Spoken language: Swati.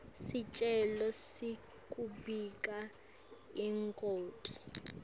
sicelo sekubika ingoti